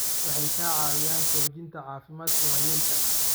Waxay ka caawiyaan xoojinta caafimaadka waayeelka.